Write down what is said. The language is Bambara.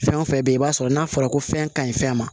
Fɛn o fɛn bɛ yen i b'a sɔrɔ n'a fɔra ko fɛn ka ɲi fɛn ma